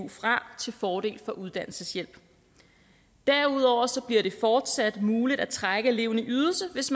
fra til fordel for uddannelseshjælp derudover bliver det fortsat muligt at trække eleven i ydelse hvis